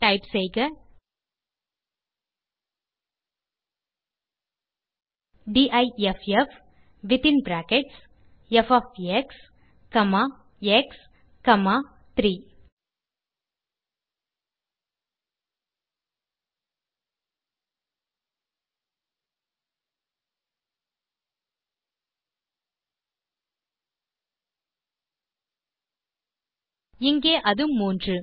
type செய்க difffஎக்ஸ்3 இங்கே அது 3